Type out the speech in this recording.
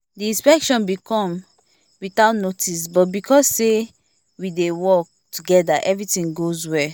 the inspection been come without notice but because say we dey work together everything goes well